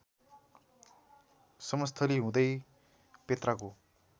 समस्थली हुँदै पेत्राको